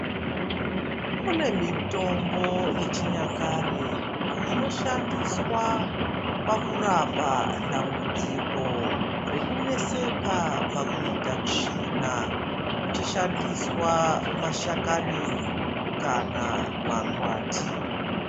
Kune mitombo yechinyakare inoshandiswa pakurapa dambudziko rekuneseka pakuita tsvina kuchishandiswa mashakani kana makwati.